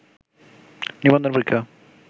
নিবন্ধন পরীক্ষা